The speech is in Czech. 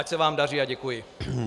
Ať se vám daří a děkuji.